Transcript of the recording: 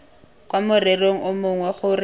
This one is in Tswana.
kwa morerong o mongwe gore